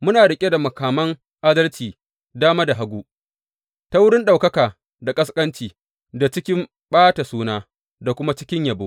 Muna riƙe da makaman adalci dama da hagu, ta wurin ɗaukaka da ƙasƙanci, da cikin ɓata suna, da kuma cikin yabo.